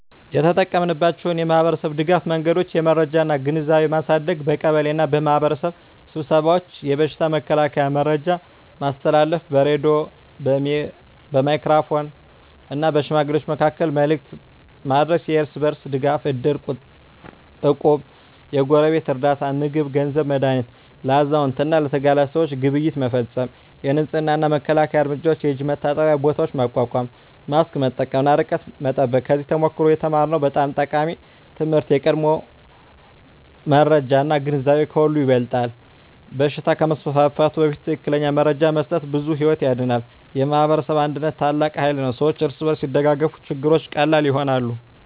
የተጠቀማችንባቸው የማኅበረሰብ ድጋፍ መንገዶች የመረጃ እና ግንዛቤ ማሳደግ በቀበሌ እና በማኅበረሰብ ስብሰባዎች የበሽታ መከላከያ መረጃ ማስተላለፍ በሬዲዮ፣ በሜጋፎን እና በሽማግሌዎች መካከል መልዕክት ማድረስ የእርስ በርስ ድጋፍ እድር፣ እቁብ እና የጎረቤት ርዳታ (ምግብ፣ ገንዘብ፣ መድሃኒት) ለአዛውንት እና ለተጋላጭ ሰዎች ግብይት መፈፀም የንፅህና እና መከላከያ እርምጃዎች የእጅ መታጠቢያ ቦታዎች ማቋቋም ማስክ መጠቀም እና ርቀት መጠበቅ ከዚያ ተሞክሮ የተማርነው በጣም ጠቃሚ ትምህርት የቀድሞ መረጃ እና ግንዛቤ ከሁሉ ይበልጣል በሽታ ከመስፋፋቱ በፊት ትክክለኛ መረጃ መስጠት ብዙ ሕይወት ያድናል። የማኅበረሰብ አንድነት ታላቅ ኃይል ነው ሰዎች እርስ በርስ ሲደጋገፉ ችግሮች ቀላል ይሆናሉ።